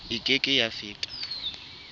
e ke ke ya feta